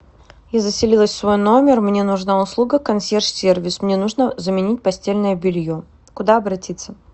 я заселилась в свой номер мне нужна услуга консьерж сервис мне нужно заменить постельное белье куда обратиться